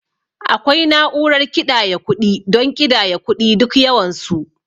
Akwai na'urar kiɗaya kuɗi don ƙidaya kuɗi duk yawan su.